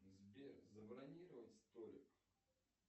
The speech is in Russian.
сбер забронировать столик